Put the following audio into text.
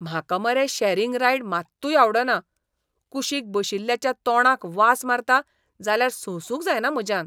म्हाका मरे sharing ride मात्तूय आवडना, कुशीक बशिल्ल्याच्या तोंडाक वास मारता जाल्यार सोंसूंक जायना म्हज्यान.